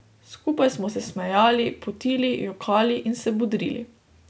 Skupaj smo se smejali, potili, jokali in se bodrili.